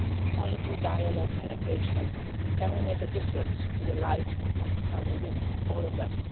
Only through dialogue and engagement can we make a difference to the life of Pakistani women, all of them.